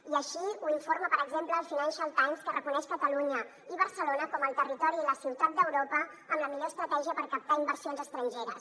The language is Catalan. i així ho informa per exemple el financial times que reconeix catalunya i barcelona com el territori i la ciutat d’europa amb la millor estratègia per captar inversions estrangeres